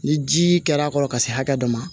Ni ji kɛr'a kɔrɔ ka se hakɛ dɔ ma